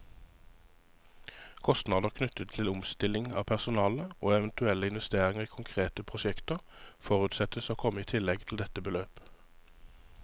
Kostnader knyttet til omstilling av personale, og eventuelle investeringer i konkrete prosjekter, forutsettes å komme i tillegg til dette beløp.